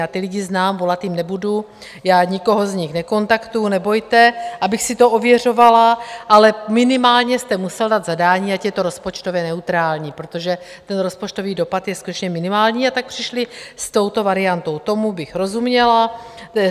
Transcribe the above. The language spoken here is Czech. Já ty lidi znám, volat jim nebudu, já nikoho z nich nekontaktuji, nebojte, abych si to ověřovala, ale minimálně jste musel dát zadání, ať je to rozpočtově neutrální, protože ten rozpočtový dopad je skutečně minimální, a tak přišli s touto variantou, tomu bych rozuměla.